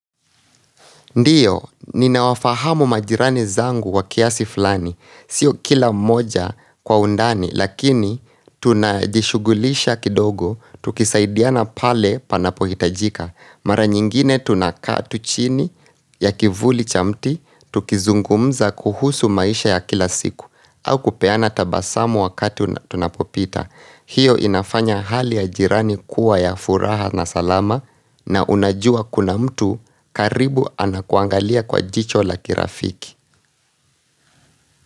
Ndiyo, ninawafahamu majirani zangu wa kiasi fulani. Sio kila moja kwa undani, lakini tunajishugulisha kidogo, tukisaidiana pale panapohitajika. Mara nyingine tunakaa tu chini ya kivuli cha mti, tukizungumza kuhusu maisha ya kila siku, au kupeana tabasamu wakati tunapopita. Hiyo inafanya hali ya jirani kuwa ya furaha na salama na unajua kuna mtu karibu anakuangalia kwa jicho la kirafiki.